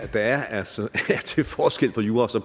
der er altså forskel på jura